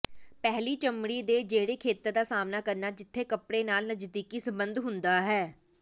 ਪਹਿਲੀ ਚਮੜੀ ਦੇ ਜਿਹੜੇ ਖੇਤਰ ਦਾ ਸਾਮ੍ਹਣਾ ਕਰਨਾ ਜਿੱਥੇ ਕੱਪੜੇ ਨਾਲ ਨਜ਼ਦੀਕੀ ਸੰਬੰਧ ਹੁੰਦਾ ਹੈ